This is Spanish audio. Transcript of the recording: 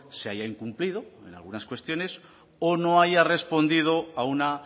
se haya incumplido en algunas cuestiones o no haya respondido a una